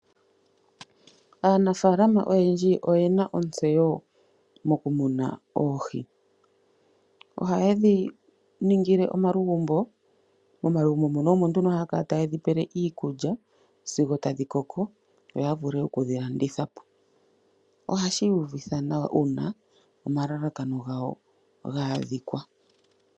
Aanafalama oyendji oyena otseyo nokumuna oohi. Oha ye dhi ningile omalugumbo, momalugumbo mono omo nduno haya kala taye dhi pele iikulya sigo tadhi koko yo ya vule oku dhi landitha po. Oha shi uvitha nawa una omalakano gawo gaadhikwa.